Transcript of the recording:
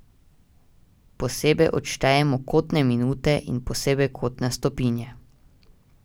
Posebej odštejemo kotne minute in posebej kotne stopinje.